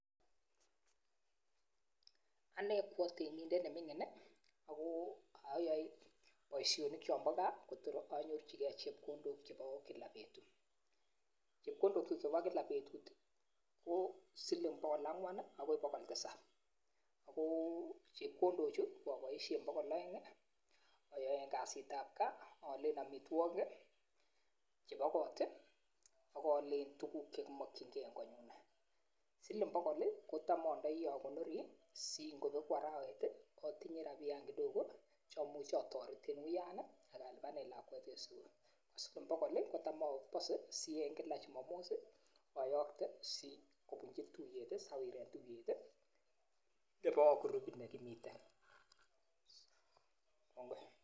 Anee ko otemindet nemingin nii ako oyoe boishonik chombo gaa Kotor onyorchi gee chepkondok chebo kila betut, chepkondok chuk chebo kila betut tii ko siling bokol angwan nii akoi bokol tisab akoo chepkondok chuuoboishe siling bokol oengi oyoen kasit tab gaa open omitwokik kii chebo kot tii ak oole tukuk chekimokin gee en konyun, siling bokol lii kotam ndio okonori si ingobeku arawek tii otinyee rabiyan kidoko che imuche otoreten wuyan nii ak alipanen lakwet en sukul, siling bokol lii kotam opose si en kila chumomos sii oyokte sikobunchi tuyet tii, sawiren tuyet tii nebo kurubit nekimiten kongoi.